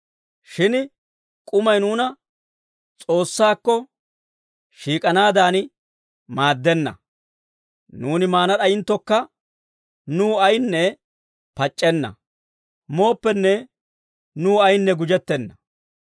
Shin k'umay nuuna S'oossaakko shiik'anaadan maaddenna. Nuuni maana d'ayinttokka nuw ayinne pac'c'enna; mooppenne nuw ayinne gujettenna.